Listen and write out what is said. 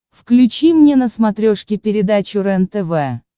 включи мне на смотрешке передачу рентв